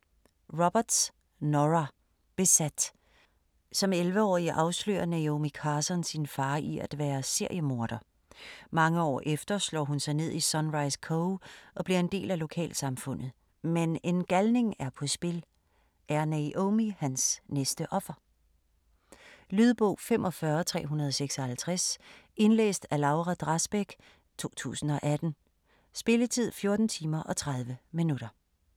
Roberts, Nora: Besat Som 11-årig afslører Naomi Carson sin far i at være seriemorder. Mange år efter slår hun sig ned i Sunrise Cove og bliver en del af lokalsamfundet. Men en galning er på spil, er Naomi hans næste offer? Lydbog 45356 Indlæst af Laura Drasbæk, 2018. Spilletid: 14 timer, 30 minutter.